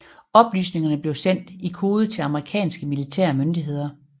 Oplysningerne blev sendt i kode til amerikanske militære myndigheder